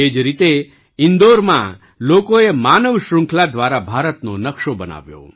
એ જ રીતે ઈન્દોરમાં લોકોએ માનવ શ્રૃંખલા દ્વારા ભારતનો નકશો બનાવ્યો